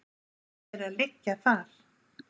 Rætur þeirra liggja þar